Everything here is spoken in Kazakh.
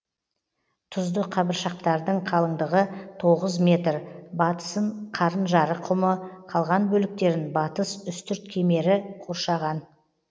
тұзды қабыршақтардың қалыңдығы тоғыз метр батысын қарынжарық құмы қалған бөліктерін батыс үстірт кемері қоршаған